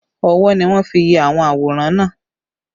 Ọwọ́ ni wọ́n fi ya àwọn àwòrán náà